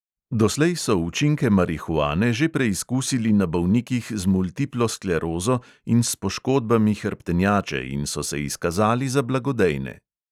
Doslej so učinke marihuane že preizkusili na bolnikih z multiplo sklerozo in s poškodbami hrbtenjače in so se izkazali za blagodejne.